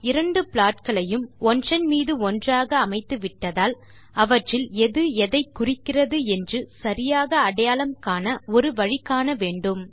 நாம் இரண்டு ப்ளாட் களையும் ஒன்றன் மீது ஒன்றாக அமைத்துவிட்டதால் அவற்றில் எது எதை குறிக்கிறது என்று சரியாக அடையாளம் காண ஒரு வழி காண வேண்டும்